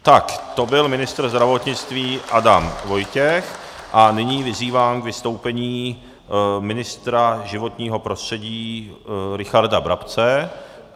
Tak to byl ministr zdravotnictví Adam Vojtěch a nyní vyzývám k vystoupení ministra životního prostředí Richarda Brabce.